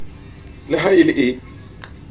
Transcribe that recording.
le ha e le e